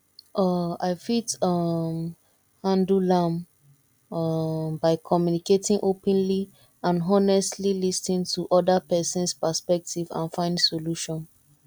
um i fit um handle am um by communicating openly and honestly lis ten to oda persons perspective and find solution